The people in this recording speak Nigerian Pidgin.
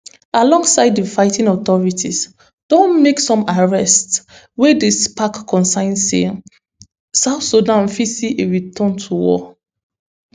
alongside di fighting authorities don make some arrests wey dey spark concerns say south sudan fit see a return to war